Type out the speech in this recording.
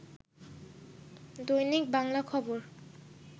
দৈনিক বাংলা খবর